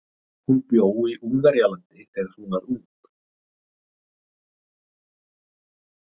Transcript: Hún bjó í Ungverjalandi þegar hún var ung.